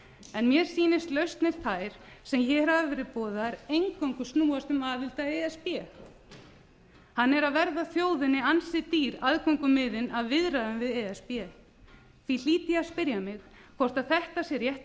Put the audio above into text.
en mér sýnist lausnir þær sem hér hafa verið boðaðar eingöngu snúast um aðild að e s b hann er að verða þjóðinni ansi dýr aðgöngumiðinn að viðræðum við e s b því hlýt ég að spyrja mig hvort þetta sé rétti